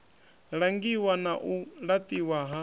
langiwa na u laṱiwa ha